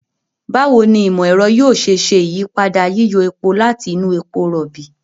Báwo ni ìmọ̀-ẹ̀rọ yóò ṣe ṣe ìyípadà yíyọ epo láti inú epo rọ̀ọ̀bì?